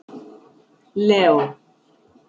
Leó